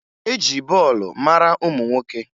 E ji bọọlụ mara ụmụ nwoke